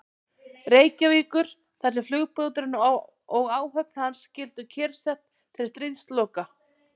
Reykjavíkur, þar sem flugbáturinn og áhöfn hans skyldu kyrrsett til stríðsloka.